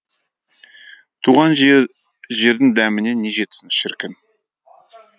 туған жердің дәміне не жетсін шіркін